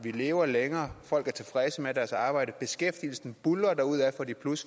vi lever længere folk er tilfredse med deres arbejde beskæftigelsen buldrer derudad for de